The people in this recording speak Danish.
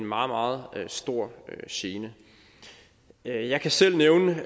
meget stor gene jeg jeg kan selv nævne